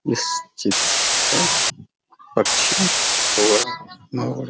इस चित्र पे पक्षी और मोर --